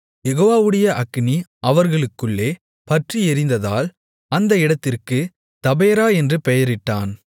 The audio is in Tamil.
யெகோவாவுடைய அக்கினி அவர்களுக்குள்ளே பற்றியெரிந்ததால் அந்த இடத்திற்குத் தபேரா என்று பெயரிட்டான்